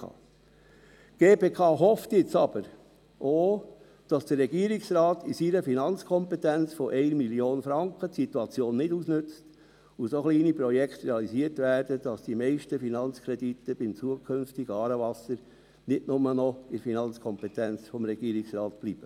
Die GPK hofft jetzt aber auch, dass der Regierungsrat in seiner Finanzkompetenz von 1 Mio. Franken die Situation nicht ausnützt und so kleine Projekte realisiert werden, dass die meisten Finanzkredite beim zukünftigen «Aarewasser» nicht nur noch in der Finanzkompetenz des Regierungsrates bleiben.